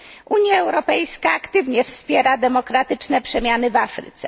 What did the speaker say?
Unia Europejska aktywnie wspiera demokratyczne przemiany w Afryce.